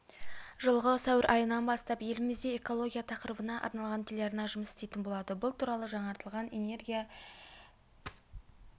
жылғы сәуір айынан бастап елімізде экология тақырыбына арналған телеарна жұмыс істейтін болады бұл туралы жаңартылған энергия